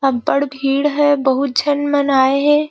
अबड़ भीड़ है बहुत झन -मन आये हे ।